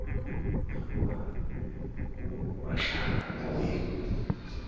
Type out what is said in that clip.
e hlokahalang ho batlana le